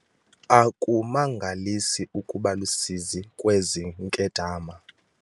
Akumangalisi ukuba lusizi kwezi nkedama.